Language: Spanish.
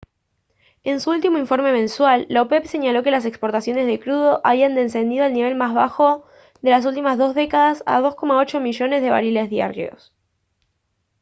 en su último informe mensual la opep señaló que las exportaciones de crudo habían descendido al nivel más bajo de las últimas dos décadas a 2,8 millones de barriles diarios